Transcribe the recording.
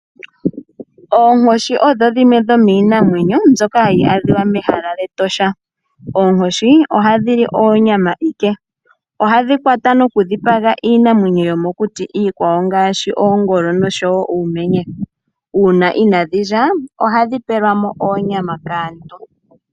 Oonkoshi odho dhimwe dhomiinamwenyo mbyoka hayi adhiwa mehala lyEtosha. Oonkoshi ohadhi li oonyama ike, ohadhi kwata nokudhipaga iinamwenyo yomokuti iikwawo ngaashi oongolo nosho wo uumenye. Uuna inadhi lya ohadhi pelwamo oonyama kaantu.